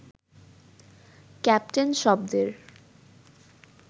captain শব্দের